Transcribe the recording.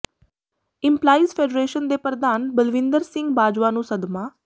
employees federation ਦੇ ਪ੍ਰਧਾਨ ਬਲਵਿੰਦਰ ਸਿੰਘ ਬਾਜਵਾ ਨੂੰ ਸਦਮਾ